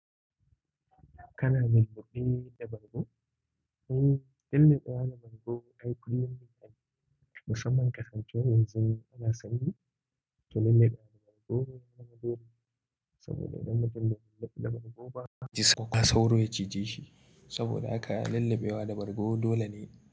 Kana lulluɓe da bargo? In lulluɓewa da bargo akwai kuliyan bin ani. Musamman kasancewar yanzu ana sanyi, to lulluɓewa da bargo ya zama dole saboda idan mutum bai lulluba da bargo ba a sauro ya cije shi. Saboda haka lulluɓewa da bargo dole ne.